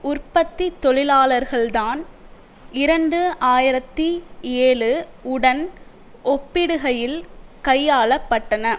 உற்பத்தி தொழிலாளர்கள் தான் இரண்டு ஆயிரத்தி ஏழு உடன் ஒப்பிடுகையில் கையாளப்பட்டன